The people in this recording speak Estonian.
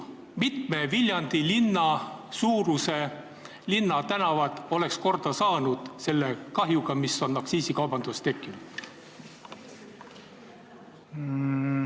Mitme Viljandi linna suuruse linna tänavad oleks korda saanud selle kahjuga, mis on aktsiisikaubandusega tekkinud?